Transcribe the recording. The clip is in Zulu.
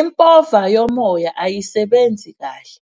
Impova yomoya ayisebenzi kahle,